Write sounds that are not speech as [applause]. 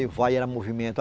[unintelligible] vai, era movimento.